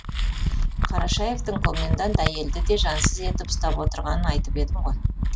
қарашаевтың комендант әйелді де жансыз етіп ұстап отырғанын айтып едім ғой